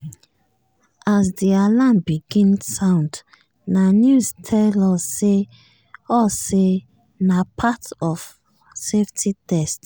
as di alarm begin sound na news tell us say us say na part of safety test.